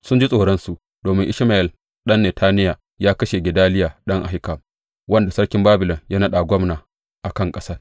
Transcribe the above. Sun ji tsoronsu domin Ishmayel ɗan Netaniya ya kashe Gedaliya ɗan Ahikam, wanda sarkin Babilon ya naɗa gwamna a kan ƙasar.